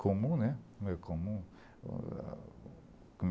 Comum, né? Comum...